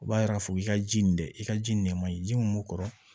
U b'a yira k'a fɔ k'i ka ji nin dɛ i ka ji nɛma in ji mun b'u kɔrɔ